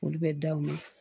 Olu bɛ da u ye